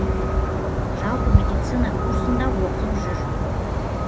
жалпы медицина курсында оқып жүр